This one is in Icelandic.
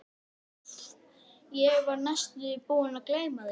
Og spurt er: er samkunda starrana mögulega trúarlegs eðlis?